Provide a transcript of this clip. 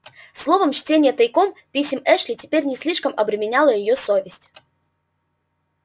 словом чтение тайком писем эшли теперь не слишком обременяло её совесть